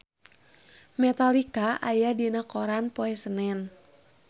Metallica aya dina koran poe Senen